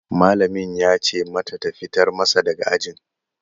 Malamin ya ce mata ta fitar masa daga ajin